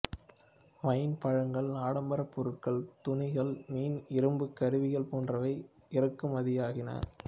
wine பழங்கள் ஆடம்பர பொருட்கள் துணிகள் மீன் இரும்பு கருவிகள் போன்றவை இறக்குமதியாகின